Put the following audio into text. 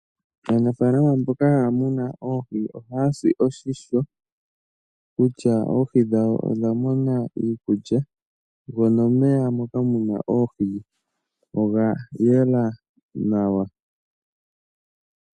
Aanafaalama mboka haya munu oohi ohaya si oshimpwiyu kutya oohi dhawo odha mona iikulya go nomeya moka muna oohi oga yela nawa.